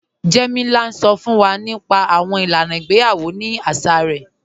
Jẹ́mílà ǹ sọ́ fún wà nípa àwọn ilànà ìgbèyawọ̀ ní àṣà rẹ̀